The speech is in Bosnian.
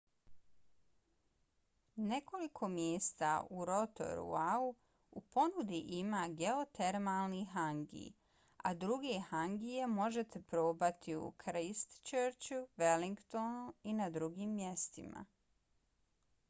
nekoliko mjesta u rotoruau u ponudi ima geotermalni hangi a druge hangije možete probati u christchurchu wellingtonu i na drugim mjestima